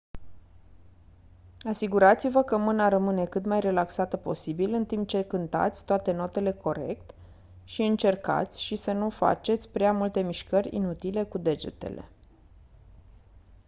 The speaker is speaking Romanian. asigurați-vă că mâna rămâne cât mai relaxată posibil în timp ce cântați toate notele corect și încercați și să nu faceți prea multe mișcări inutile cu degetele